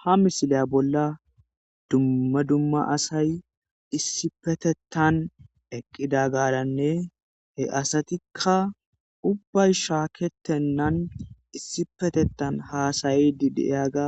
ha misile bolla dumma dumma asay issi petettan eqqida gaaranne he asatikka ubbay shaaketennan issi petetan haasayi didiyaga